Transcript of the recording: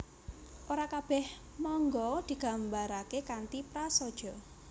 Ora kabèh manga digambaraké kanthi prasaja